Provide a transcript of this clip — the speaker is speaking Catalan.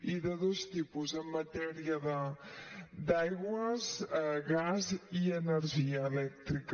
i de dos tipus en matèria d’aigües gas i energia elèctrica